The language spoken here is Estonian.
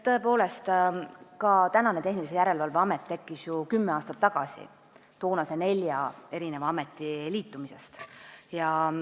Tõepoolest, Tehnilise Järelevalve Amet tekkis ju kümme aastat tagasi toonase nelja ameti liitumisel.